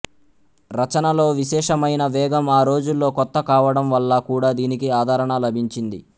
రచనలో విశేషమైన వేగం ఆ రోజుల్లో కొత్త కావడం వల్ల కూడా దీనికి ఆదరణ లభించింది